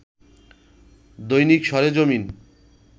দৈনিক সরেজমিন